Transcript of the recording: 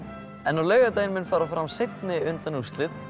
en á laugardaginn mun fara fram seinni undanúrslit